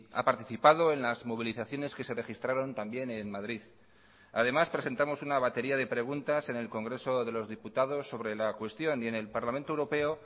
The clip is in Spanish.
ha participado en las movilizaciones que se registraron también en madrid además presentamos una batería de preguntas en el congreso de los diputados sobre la cuestión y en el parlamento europeo